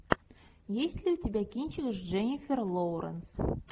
есть ли у тебя кинчик с дженнифер лоуренс